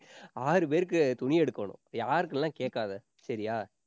ஆறு பேருக்கு துணி எடுக்கணும். யாருக்ன்னு எல்லாம் கேட்காதே சரியா?